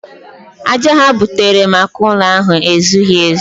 Aja ha butere maka ụlọ ahụ ezughị ezu.